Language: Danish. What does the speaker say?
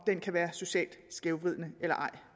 det kan være socialt skævvridende eller ej